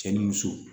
Cɛ ni muso